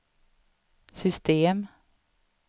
system